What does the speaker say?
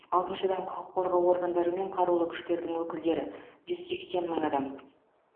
алтыншыдан құқық қорғау органдары мен қарулы күштердің өкілдері жүз сексен мың адам